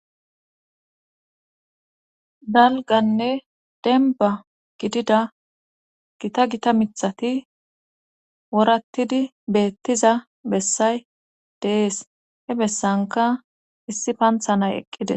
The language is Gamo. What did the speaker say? dalganne denba gidida gita gita mithati worattidi beettiza bessay dee'es he bessanka issi pantha nay eqqide